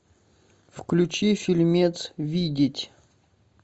включи фильмец видеть